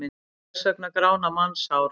Hvers vegna grána mannshár?